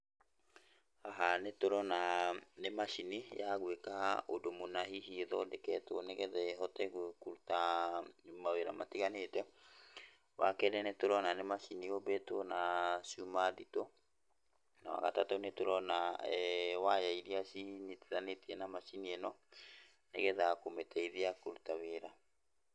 Haha nĩtũrona nĩ macini ya gwĩka ũndũ mũna hihi ĩthondeketwo nĩgetha ĩhote kũruta mawĩra matiganĩte. Wa kerĩ, nĩ tũrona nĩ macini yũmbĩtwo na cuma nditũ, na wa gatatũ, nĩ tũrona eeh waya irĩa cinyitithanĩtie na macini ĩno, nĩgetha kũmĩteithia kũruta wĩra.